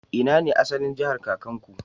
Ina ne asalin jahar kakanku?